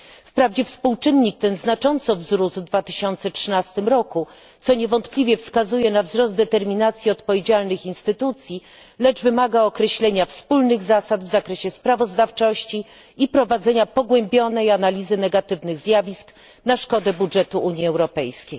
Wprawdzie współczynnik ten znacząco wzrósł w 2013 roku, co niewątpliwie wskazuje na wzrost determinacji odpowiedzialnych instytucji, lecz wymaga określenia wspólnych zasad w zakresie sprawozdawczości i prowadzenia pogłębionej analizy negatywnych zjawisk na szkodę budżetu Unii Europejskiej.